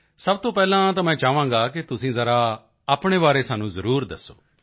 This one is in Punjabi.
ਸਭ ਤੋਂ ਪਹਿਲਾਂ ਤਾਂ ਮੈਂ ਚਾਹਾਂਗਾ ਕਿ ਤੁਸੀਂ ਜ਼ਰਾ ਆਪਣੇ ਬਾਰੇ ਸਾਨੂੰ ਜ਼ਰੂਰ ਦੱਸੋ